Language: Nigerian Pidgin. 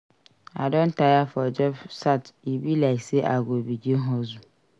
I don tire for job search e be like sey I go begin hustle.